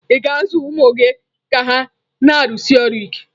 Ị̀ ga-azụ ụmụ gị ka ha na-arụsi ọrụ ike?